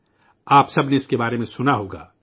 آپ سب نے اس کے بارے میں سنا ہوگا